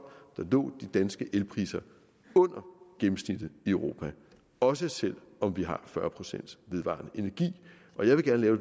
lå de danske elpriser under gennemsnittet i europa også selv om vi har fyrre procent vedvarende energi og jeg vil gerne